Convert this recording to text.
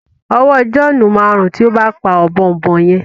owó John má run tí o bá pá Ọ̀bọ̀ọ̀nbọọ̀n yén.